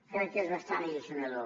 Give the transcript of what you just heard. crec que és bastant alliçonador